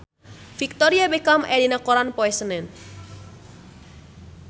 Victoria Beckham aya dina koran poe Senen